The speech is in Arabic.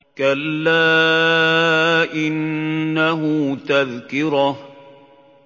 كَلَّا إِنَّهُ تَذْكِرَةٌ